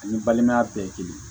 Ani balimaya bɛɛ ye kelen